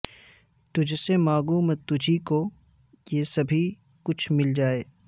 تجھ سے مانگوں میں تجھی کو کہ سبھی کچھ مل جائے